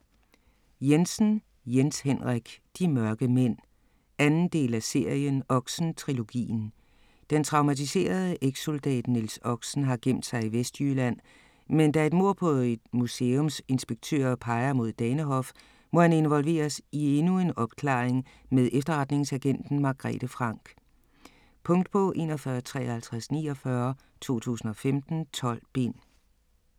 Jensen, Jens Henrik: De mørke mænd 2. del af serien Oxen-trilogien. Den traumatiserede ekssoldat Niels Oxen har gemt sig i Vestjylland, men da et mord på en museumsinspektør peger mod Danehof, må han involveres i endnu en opklaring med efterretningsagenten Margrethe Franck. Punktbog 415349 2015. 12 bind.